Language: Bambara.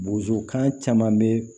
Bozokan caman be